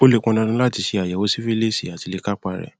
ó lè pọn dandan láti ṣe àyẹwò sífílíìsì áti lè kápá a rẹ